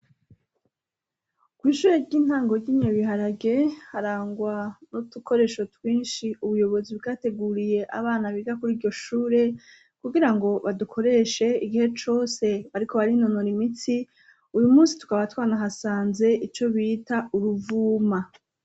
Kw'ishure ry'intangoryinye biharage harangwa no tukoresho twinshi ubuyobozi bwateguriye abana biga kuri iryo shure kugira ngo badukoreshe igihe cose bariko bari nonora imitsi uyu musi twa abatwana hasanze ico bita uruvuma.